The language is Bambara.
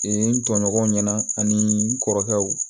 n tɔɲɔgɔnw ɲɛna ani n kɔrɔkɛw